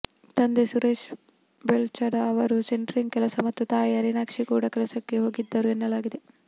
ತಂದೆ ಸುರೇಶ ಬೆಳ್ಚಡ ಅವರು ಸೆಂಟ್ರಿಂಗ್ ಕೆಲಸ ಮತ್ತು ತಾಯಿ ಹರಿಣಾಕ್ಷಿ ಕೂಡಾ ಕೆಲಸಕ್ಕೆ ಹೋಗಿದ್ದರು ಎನ್ನಲಾಗಿದೆ